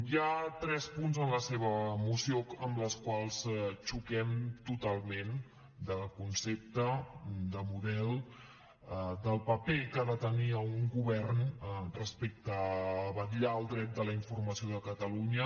hi ha tres punts en la seva moció amb els quals xoquem totalment de concepte de model del paper que ha de tenir un govern respecte a vetllar el dret de la informació de catalunya